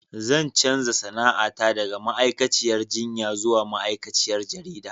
Zan canza sana'ata daga ma'aikaciyar jinya zuwa ma'aikaciyar jarida.